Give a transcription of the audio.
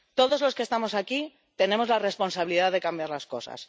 Todos los que estamos aquí tenemos la responsabilidad de cambiar las cosas.